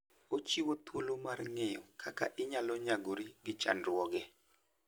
Ochiwo thuolo mar ng'eyo kaka inyalo nyagori gi chandruoge.